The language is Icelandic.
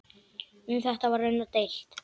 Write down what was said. Um þetta var raunar deilt.